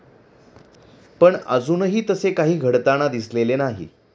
पण अजूनही तसे काही घडताना दिसलेले नाही.